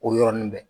O yɔrɔnin bɛɛ